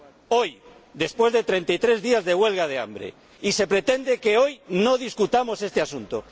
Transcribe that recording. Hoy, después de 33 días de huelga de hambre y se pretende que hoy no debatamos este asunto.